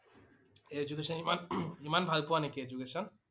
Education ইমান ইমান ভাল পোৱা নেকি Education?